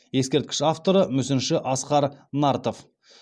ескерткіш авторы мүсінші асқар нартов